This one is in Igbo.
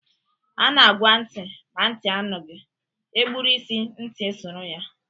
A na-agwa ntị ma ntị anụghị, e gburu isi ntị esoro ya.